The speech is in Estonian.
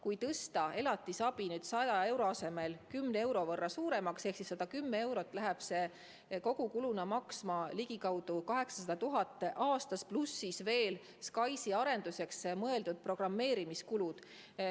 Kui tõsta elatisabi 100 euro asemel 10 euro võrra suuremaks ehk 110 euroni, läheb see kogukuluna maksma ligikaudu 800 000 eurot aastas, pluss veel SKAIS-i arenduse programmeerimise kulud.